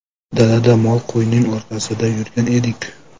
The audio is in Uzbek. Dalada mol-qo‘yning orqasidan yurgan edik.